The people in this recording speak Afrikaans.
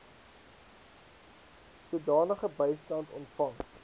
sodanige bystand ontvang